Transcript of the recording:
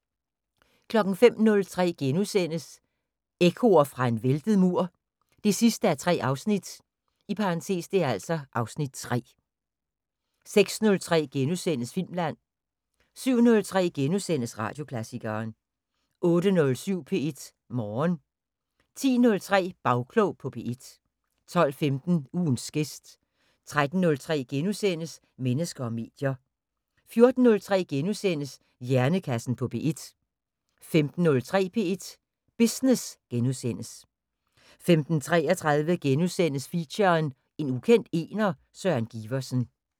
05:03: Ekkoer fra en væltet mur 3:3 (Afs. 3)* 06:03: Filmland * 07:03: Radioklassikeren * 08:07: P1 Morgen 10:03: Bagklog på P1 12:15: Ugens gæst 13:03: Mennesker og medier * 14:03: Hjernekassen på P1 * 15:03: P1 Business * 15:33: Feature: En ukendt ener, Søren Giversen *